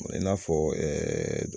O ye in'a fɔ ɛɛɛ